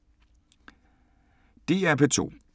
DR P2